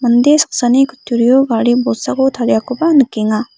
mande saksani kutturio gari bolsako tariakoba nikenga.